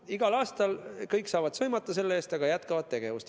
No igal aastal saavad kõik selle eest sõimata, aga jätkavad seda tegevust.